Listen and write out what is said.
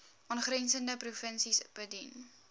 aangrensende provinsies bedien